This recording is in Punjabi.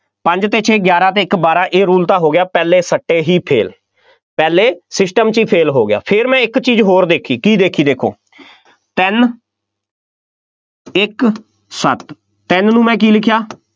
ਪੰਜ ਅਤੇ ਛੇ, ਗਿਆਰਾਂ ਅਤੇ ਇੱਕ, ਬਾਰਾਂ, ਇਹ rule ਤਾਂ ਹੋ ਗਿਆ, ਪਹਿਲੇ ਸੱਟੇ ਹੀ fail ਪਹਿਲੇ system 'ਚ ਹੀ fail ਹੋ ਗਿਆ, ਫੇਰ ਮੈਂ ਇੱਕ ਚੀਜ਼ ਹੋਰ ਦੇਖੀ, ਕੀ ਦੇਖੀ, ਦੇਖੋ, ਤਿੰਨ ਇੱਕ, ਸੱਤ, ਤਿੰਂਨ ਨੂੰ ਮੈਂ ਕੀ ਲਿਖਿਆ,